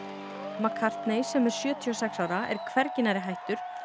mcCartney sem er sjötíu og sex ára er hvergi nærri hættur